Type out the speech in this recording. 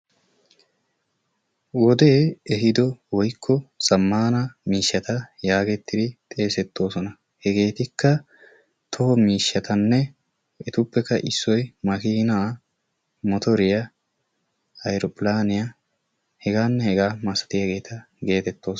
Wodee ehiido woykko zamaana miishshata yaagettidi xeesettoosona. Hegeetikka togo miishshatanne hegeetuppekka issoy makiina, motoriya, aeropilaaniya hegaanne hegaa masattiyageeta geetettoosona.